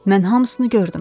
Mən hamısını gördüm.